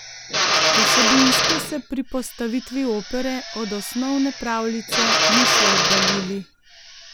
Vsebinsko se pri postavitvi opere od osnovne pravljice niso oddaljili.